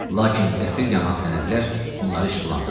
Lakin qəfil yanan fənərlər onları işıqlandırdı.